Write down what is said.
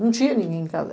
Não tinha ninguém em casa.